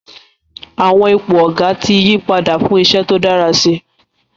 Àwọn ipò Ọ̀gá ti yí padà fún iṣẹ́ tó dára si